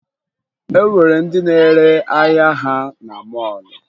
E nwere ndị na-ere ahịa ha na mọọlụ